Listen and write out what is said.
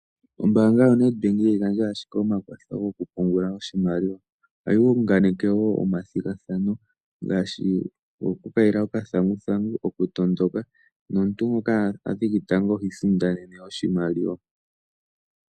Ombanga yoNedbank ihayi gandja ashike omakwatho gokupungula oshimaliwa ohayi unganeke woo omathigathano ngaashi goku kayila okathanguthangu nokutondoka. Omuntu ngoka athiki tango oha isindanene oshimaliwa.